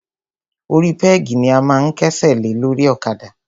Orí pẹ́gì ni a máa ń kẹ́sẹ̀ lé lórí ọ̀kadà.